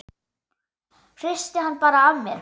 Hristi hann bara af mér.